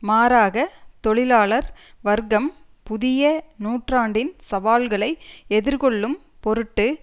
மாறாக தொழிலாளர் வர்க்கம் புதிய நூற்றாண்டின் சவால்களை எதிர்கொள்ளும் பொருட்டு